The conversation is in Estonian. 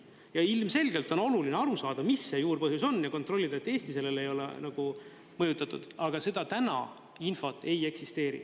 Ja ilmselgelt on oluline aru saada, mis see juurpõhjus on, ja kontrollida, et Eesti sellele ei ole mõjutatud, aga seda infot täna ei eksisteeri.